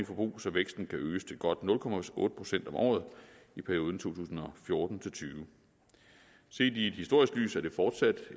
forbrug så væksten kan øges til godt nul procent om året i perioden to tusind og fjorten til tyve set i et historisk lys er det fortsat